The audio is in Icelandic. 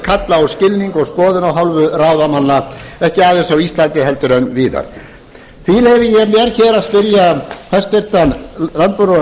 kalla á skilning og skoðun af hálfu ráðamanna ekki aðeins á íslandi heldur víðar því leyfi ég mér hér að spyrja hæstvirtan landbúnaðar og